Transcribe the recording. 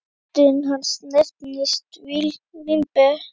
Aldin hans nefnast vínber.